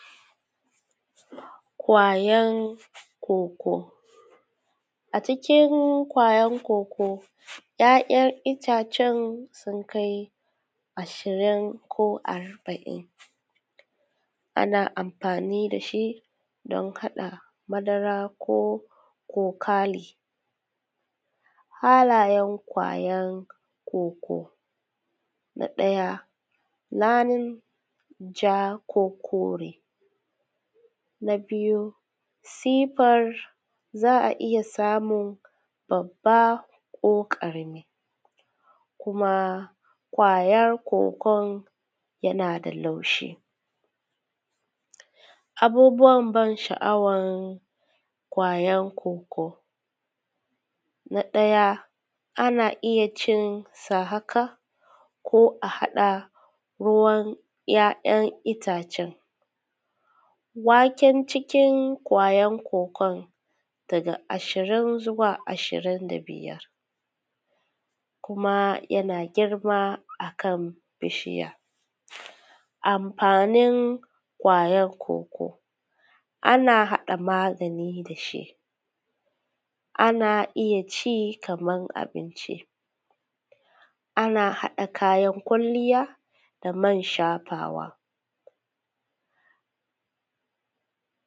Ƙwayar koko a cikin ƙwayar koko ya'yan itacen sun kai ishirin ko hamsun ko arba'in ana amfani da shi don haɗa madara ko kokalin. Halayen ƙwayar koko na ɗaya launin ja ko kore na biyu sifar za a iya samun babba ko karami kuma ƙwayar kokon yana da laushi. Abubuwan ban sha'awar ƙwayar kwokwo, na ɗaya ana iya cinsa haka ko a haɗa ruwan ya'yan itacen. Ya'yan cikin ƙwayar kokon daga ashirin zuwa ashirin da biyar kuma yana girma a kan bishiya amfanin ƙwayar kwokwo ana haɗa magani da shi ana iya ci kamar abinci, ana haɗa kayan kwalliya da man shafawa.